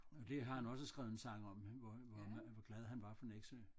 Det har han også skrevet en sang om hvor hvor glad han var for Nexø